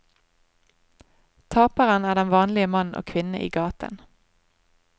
Taperen er den vanlige mann og kvinne i gaten.